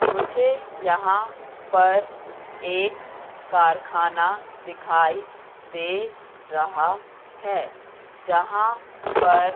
मुझे यहां पर एक कारखाना दिखाई दे रहा है जहाँ पर--